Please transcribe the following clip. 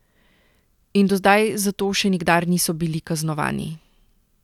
In do zdaj za to še nikdar niso bili kaznovani.